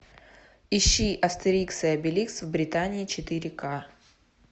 ищи астерикс и обеликс в британии четыре к